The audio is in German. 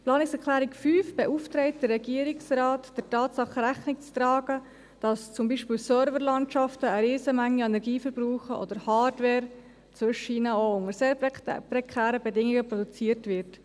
Die Planungserklärung 5 beauftragt den Regierungsrat, der Tatsache Rechnung zu tragen, dass zum Beispiel Server-Landschaften eine Riesenmenge an Energie verbrauchen oder Hardware zwischendurch auch unter sehr prekären Bedingungen produziert wird.